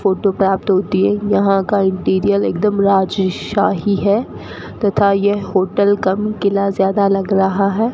Photo पे आप दो तीन यहां का इंटीरियर एकदम राजशाही है तथा यह होटल कम किला ज्यादा लग रहा है।